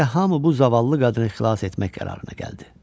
Beləliklə, hamı bu zavallı qadını xilas etmək qərarına gəldi.